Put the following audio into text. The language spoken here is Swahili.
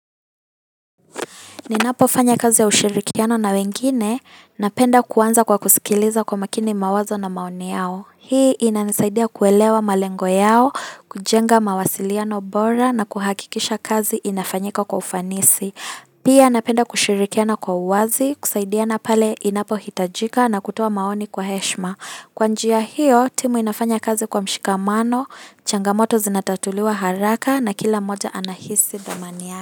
Ninapofanya kazi ya ushirikiano na wengine, napenda kuanza kwa kusikiliza kwa makini mawazo na maoni yao. Hii inanisaidia kuelewa malengo yao, kujenga mawasiliano bora na kuhakikisha kazi inafanyika kwa ufanisi. Pia napenda kushirikiana kwa uwazi, kusaidiana pale inapohitajika na kutoa maoni kwa heshima. Kwa njia hiyo, timu inafanya kazi kwa mshikamano, changamoto zinatatuliwa haraka na kila mmoja anahisi dhamani ya.